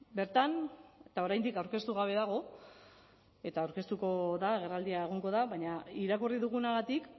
bertan eta oraindik aurkeztu gabe dago eta aurkeztuko da agerraldia egongo da baina irakurri dugunagatik